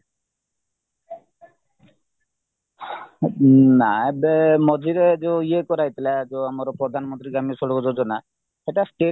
ନା ଏବେ ମଝିରେ ଯୋଉ ଇଏ କରାଯାଇଥିଲା ଯୋଉ ପ୍ରଧାନମନ୍ତ୍ରୀ ଗ୍ରାମ୍ୟ ସଡକ ଯୋଜନା ସେଇଟା state